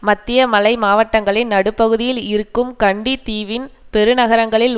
மத்திய மலை மாவட்டங்களின் நடுப்பகுதியில் இருக்கும் கண்டி தீவின் பெருநகரங்களில்